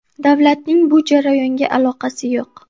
Davlatning bu jarayonga aloqasi yo‘q.